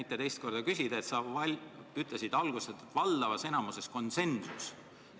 Ja teiseks, sa ütlesid alguses, et saavutasite valdavas enamuses konsensuse.